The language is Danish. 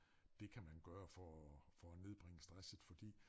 Det kan man gøre for for at nedbringe stresset fordi